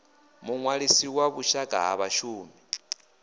muṅwalisi wa vhushaka ha vhashumi